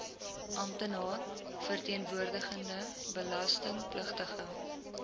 amptenaar verteenwoordigende belastingpligtige